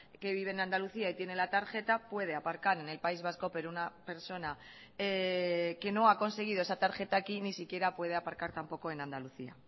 que vive en andalucía y tiene la tarjeta puede aparcar en el país vasco pero una persona que no ha conseguido esa tarjeta aquí ni siquiera puede aparcar tampoco en andalucía